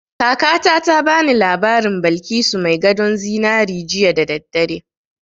Kakata ta ba ni labarin Balkisu mai gadon zinari jiya da daddare